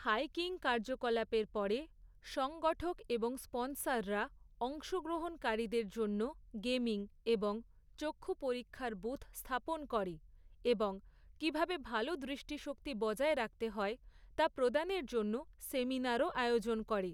Hiking কার্যকলাপের পরে, সংগঠক এবং স্পনসররা অংশগ্রহণকারীদের জন্য, গেমিং এবং চক্ষু পরীক্ষার বুথ স্থাপন করে এবং কীভাবে ভাল দৃষ্টিশক্তি বজায় রাখতে হয়, তা প্রদানের জন্য সেমিনারও আয়োজন করে।